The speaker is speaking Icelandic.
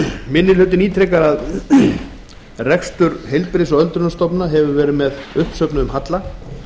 minni hlutinn ítrekar að rekstur heilbrigðis og öldrunarstofnana hefur verið með uppsöfnuðum halla